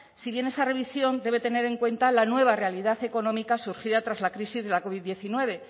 si bien esa revisión debe tener en cuenta la nueva realidad económica surgida tras la crisis de la covid diecinueve